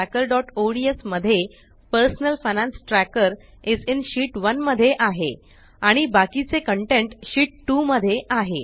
personal finance trackerओडीएस मध्ये personal finance tracker is in sheet 1 मध्ये आहे आणि बाकीचे कंटेंट शीत 2 मध्ये आहे